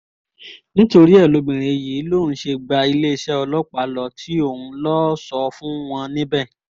nítorí ẹ lóbìnrin yìí lòun ṣe gba iléeṣẹ́ ọlọ́pàá lọ tí òun lọ́ọ́ sọ fún wọn níbẹ̀